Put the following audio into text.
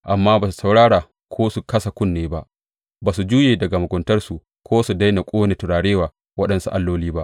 Amma ba su saurara ko su kasa kunne ba; ba su juye daga muguntarsu ko su daina ƙone turare wa waɗansu alloli ba.